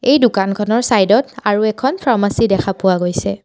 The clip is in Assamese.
এই দোকানখনৰ চাইড ত আৰু এখন ফাৰ্মাচী দেখা পোৱা গৈছে।